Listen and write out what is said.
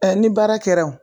ni baara kɛra o